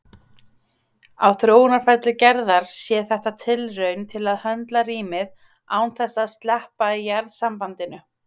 Á þróunarferli Gerðar sé þetta tilraun til að höndla rýmið án þess að sleppa jarðsambandinu.